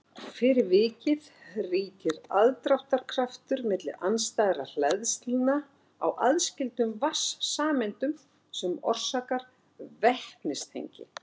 Fyrir vikið ríkir aðdráttarkraftur milli andstæðra hleðslna á aðskildum vatnssameindum sem orsakar vetnistengi.